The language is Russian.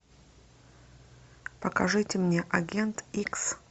покажите мне агент икс